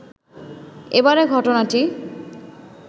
এবারের ঘটনাটি